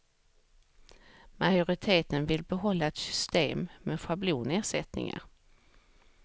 Majoriteten vill behålla ett system med schablonersättningar.